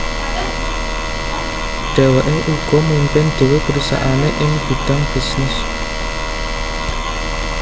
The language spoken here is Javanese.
Dhèwèké uga mimpin dhéwé perusahaané ing bidang bisnis